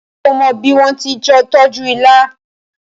ṣe o mó bí wón tí tọjú ìlà